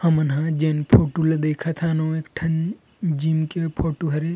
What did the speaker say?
हमन हा जेन फोटो ला देखत हान उ एक ठन जिम के फोटो हरे।